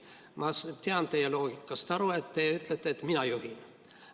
Ma saan teie loogikast aru – te ütlete: "Mina juhin.